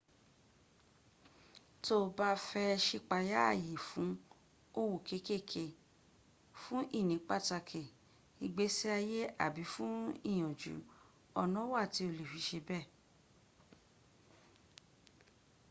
to o ba fe sipaya aye fun owo kekere fun ini pataki igbesiaye abi fun iyaju ona wa ti o le fi se be